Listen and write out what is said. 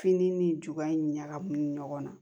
Fini ni juba in ɲagaminen ɲɔgɔn na